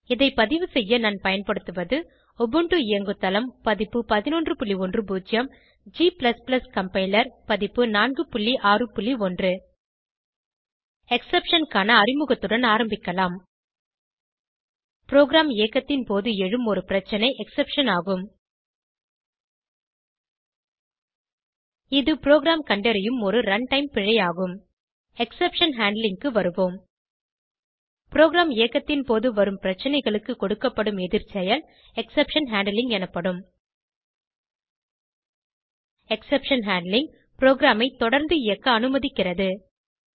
இதை பதிவு செய்ய நான் பயன்படுத்துவது உபுண்டு இயங்குதளம் பதிப்பு 1110 g கம்பைலர் பதிப்பு 461 எக்ஸெப்ஷன் க்கான அறிமுகத்துடன் ஆரம்பிக்கலாம் ப்ரோகிராம் இயக்கத்தின் போது எழும் ஒரு பிரச்சனை எக்ஸெப்ஷன் ஆகும் இது ப்ரோகிராம் கண்டறியும் ஒரு run டைம் பிழை ஆகும் எக்ஸெப்ஷன் ஹேண்ட்லிங் க்கு வருவோம் ப்ரோகிராம் இயக்கத்தின் போது வரும் பிரச்சனைகளுக்கு கொடுக்கப்படும் எதிர்செயல் எக்ஸெப்ஷன் ஹேண்ட்லிங் எனப்படும் எக்ஸெப்ஷன் ஹேண்ட்லிங் ப்ரோகிராமை தொடர்ந்து இயக்க அனுமதிக்கிறது